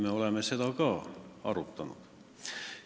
Me oleme seda ka arutanud.